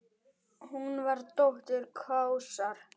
Hún var dóttir Kaosar.